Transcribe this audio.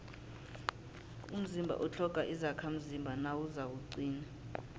umzimba utlhoga izakhamzimba nawuzakuqina